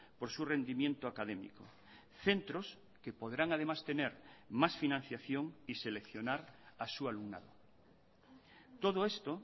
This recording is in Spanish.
por su rendimiento académico centros que podrán además tener más financiación y seleccionar a su alumnado todo esto